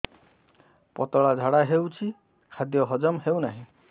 ପତଳା ଝାଡା ହେଉଛି ଖାଦ୍ୟ ହଜମ ହେଉନାହିଁ